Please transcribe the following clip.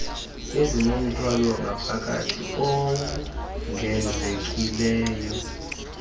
ezinomthwalo wangaphakathi owongezekileyo